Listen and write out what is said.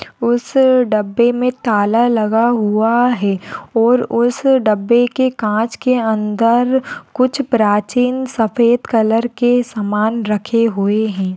उस डब्बे मे ताला लगा हुआ है और उस डब्बे के काँच के अंदर कुछ प्राचीन सफेद कलर के समान रखे हुए है।